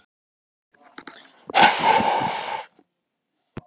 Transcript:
Jóhannes: Og þú ætlar að vera að vinna hér lengi?